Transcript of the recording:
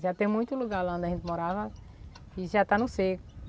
Já tem muito lugar lá onde a gente morava que já está no seco.